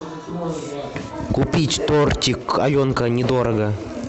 купить тортик аленка недорого